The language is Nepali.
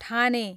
ठाने